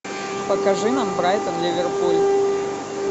покажи нам брайтон ливерпуль